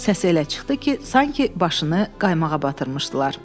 Səs elə çıxdı ki, sanki başını qaymağa batırmışdılar.